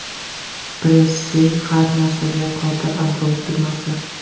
Pressy har narsaga qodir Android tugmasi.